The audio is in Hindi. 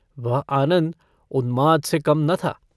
वह आनन्द उन्माद से कम न था।